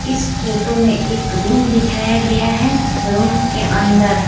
इस फोटो में एक रूम दिखाया गया है रूम के अंदर--